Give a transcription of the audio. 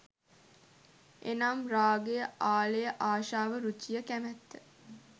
එනම් රාගය, ආලය, ආශාව, රුචිය, කැමත්ත,